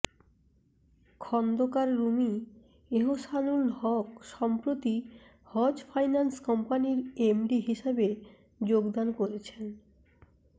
খন্দকার রুমী এহসানুল হক সম্প্রতি হজ ফাইন্যান্স কম্পানির এমডি হিসেবে যোগদান করেছেন